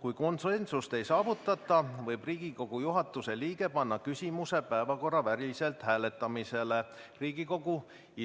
Kui konsensust ei saavutata, võib Riigikogu juhatuse liige panna küsimuse päevakorraväliselt hääletamisele Riigikogu